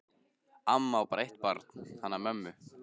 Amma á bara eitt barn, hana mömmu.